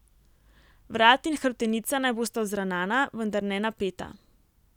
Vrat in hrbtenica naj bosta vzravnana, vendar ne napeta.